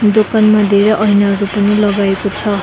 दोकनमा धेरैं ऐनाहरु पनि लगाएका छ।